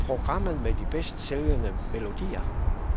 Programmet med de bedst sælgende melodier.